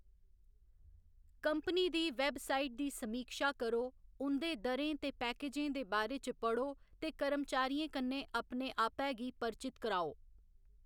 Company दी website दी समीक्षा करो, उं'दे दरें ते पैकेजें दे बारे च पढ़ो ते कर्मचारियें कन्नै अपने आपै गी परचित कराओ।